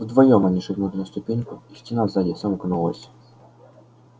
вдвоём они шагнули на ступеньку и стена сзади сомкнулась